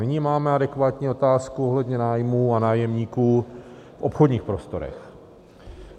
Nyní máme adekvátní otázku ohledně nájmů a nájemníků v obchodních prostorech.